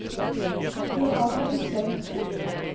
Johanna Guttormsen